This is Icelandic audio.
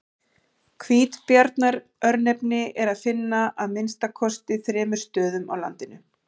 Hvítabjarnar-örnefni er að finna á að minnsta kosti þremur stöðum á landinu.